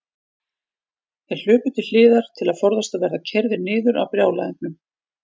Þeir hlupu til hliðar til að forðast að verða keyrðir niður af brjálæðingnum.